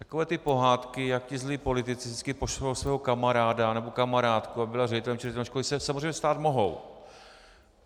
Takové ty pohádky, jak ti zlí politici vždycky pošlou svého kamaráda nebo kamarádku, aby byla ředitelem či ředitelkou školy, se samozřejmě stát mohou.